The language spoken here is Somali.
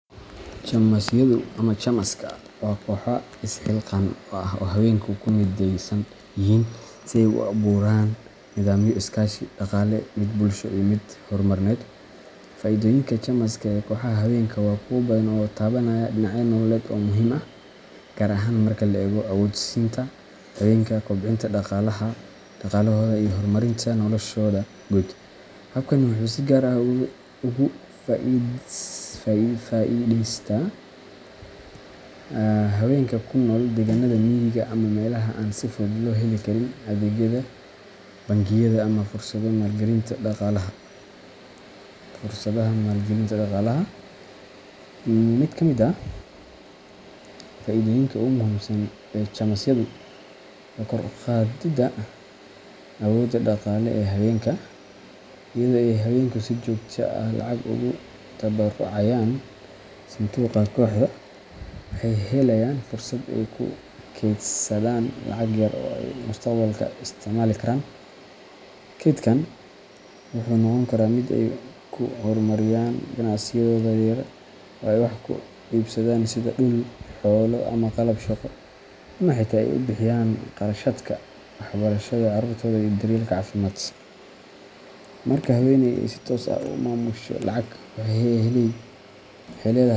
Chama-yadu ama chamaska waa kooxo isxilqaan ah oo ay haweenka ku mideysan yihiin si ay u abuuraan nidaamyo iskaashi dhaqaale, mid bulsho, iyo mid horumarineed. Fa'iidooyinka chamas-ka ee kooxaha haweenka waa kuwo badan oo taabanaya dhinacyo nololeed oo muhiim ah, gaar ahaan marka la eego awood-siinta haweenka, kobcinta dhaqaalahooda, iyo horumarinta noloshooda guud. Habkani wuxuu si gaar ah ugu faa'iidaystaa haweenka ku nool deegaanada miyiga ama meelaha aan si fudud loo heli karin adeegyada bangiyada ama fursadaha maalgelinta dhaqaalaha. Mid ka mid ah faa'iidooyinka ugu muhiimsan ee chamas-yadu waa kor u qaadidda awoodda dhaqaale ee haweenka. Iyadoo ay haweenku si joogto ah lacag ugu tabarucayaan sanduuqa kooxda, waxay helayaan fursad ay ku kaydsadaan lacag yar oo ay mustaqbalka isticmaali karaan. Kaydkan wuxuu noqon karaa mid ay ku horumariyaan ganacsiyadooda yaryar, ay wax ku iibsadaan sida dhul, xoolo ama qalab shaqo, ama xitaa ay ku bixiyaan kharashaadka waxbarashada carruurtooda iyo daryeelka caafimaad. Marka haweeney ay si toos ah u maamusho lacag, waxay leedahay.